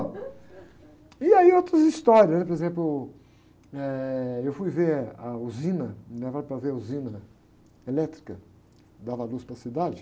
E aí outras histórias, né? Por exemplo, eu fui ver a usina, me levaram para ver a usina elétrica, que dava luz para a cidade.